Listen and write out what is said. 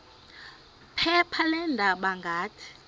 phepha leendaba ngathi